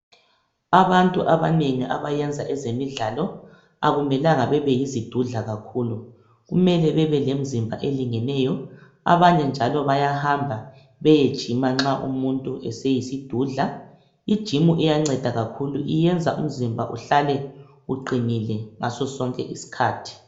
Abantu abanengi abenza ngezemidlalo akumelanga bebeyizidudla kakhulu kumele bebelemzimba elingeneyo abanye njalo bayahamba beyegymer nxa umuntu eseyisidudla igym iyanceda kakhulu iyenza umuntu ehlale eqinile ngaso sonke iskhathi